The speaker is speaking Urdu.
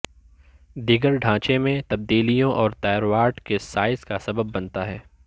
دیگر ڈھانچے میں تبدیلیوں اور تائرواڈ کے سائز کا سبب بنتا ہے